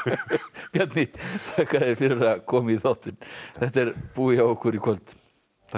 Bjarni þakka þér fyrir að koma í þáttinn þetta er búið hjá okkur í kvöld takk fyrir